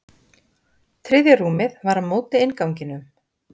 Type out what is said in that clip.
Þriðja rúmið var á móti innganginum.